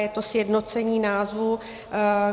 Je to sjednocení názvu.